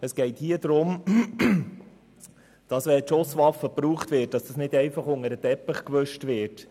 » Wenn eine Schusswaffe gebraucht wird, soll dies nicht einfach unter den Teppich gekehrt werden.